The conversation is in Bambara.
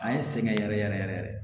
A ye n sɛgɛn yɛrɛ yɛrɛ yɛrɛ yɛrɛ